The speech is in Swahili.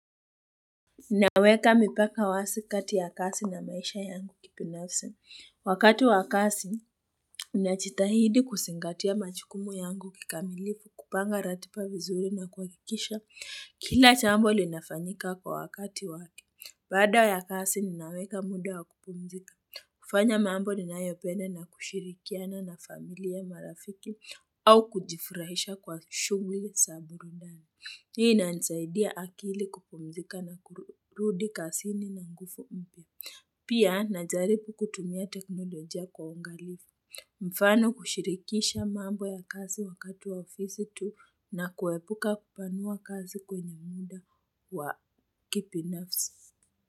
Naweka mipaka wazi kati ya kazi na maisha yangu kibinafsi. Wakati ya kazi, najitahidi kuzingatia majukumu yangu kikamilifu, kupanga ratiba vizuri na kuhakikisha. Kila jambo linafanyika kwa wakati wake. Baada ya kazi, ninaweka muda wa kupumzika. Kufanya mambo ninayopenda na kushirikiana na familia marafiki au kujifurahisha kwa shughuli za burudani. Hii inanisaidia akili kupumzika na kurudi kazini na nguvu mpya. Pia najaribu kutumia teknoloja kwa uangalifu. Mfano kushirikisha mambo ya kazi wakatu wa ofisi tu na kuepuka kupanua kazi kwenye muda wa kibinafsi.